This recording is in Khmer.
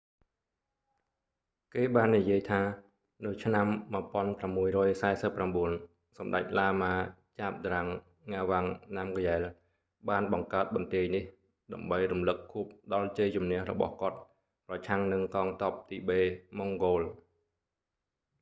គេបាននិយាយថា នៅឆ្នាំ 1649 សម្តេចឡាម៉ា zhabdrung ngawang namgyel បានបង្កើតបន្ទាយនេះ ដើម្បីរំលឹកខួបដល់ជ័យជម្នះរបស់គាត់ប្រឆាំងនឹងកងទ័ពទីបេ-ម៉ុងហ្គោល